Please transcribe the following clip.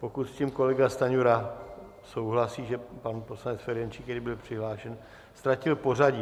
Pokud s tím kolega Stanjura souhlasí, že pan poslanec Ferjenčík, který byl přihlášen, ztratil pořadí.